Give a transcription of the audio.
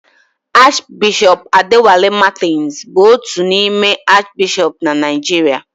Arch Bishop Adewale Martins bụ otu n'ime Arch bishọp na Naijiria